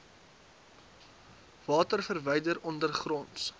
water verwyder ondergronds